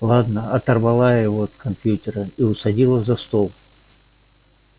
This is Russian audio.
ладно оторвала я его от компьютера и усадила за стол